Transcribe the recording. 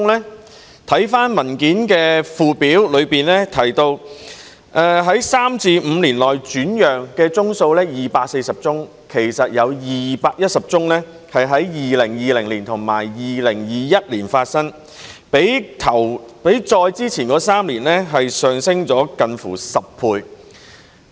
主體答覆的附表顯示，在第三至五年內轉讓居屋單位的有240宗，其實當中有210宗是在2020年及2021年發生的，較以往3年上升近10倍。